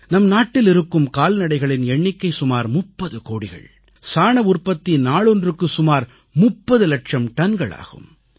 நம் நாட்டில் இருக்கும் கால்நடைகளின் எண்ணிக்கை சுமார் 30 கோடிகள் சாண உற்பத்தி நாளொன்றுக்கு சுமார் 30 இலட்சம் டன்கள் ஆகும்